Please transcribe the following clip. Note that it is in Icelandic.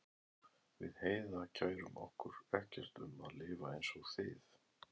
Við Heiða kærum okkur ekkert um að lifa einsog þið.